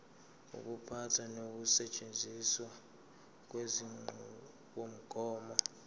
ukuphatha nokusetshenziswa kwenqubomgomo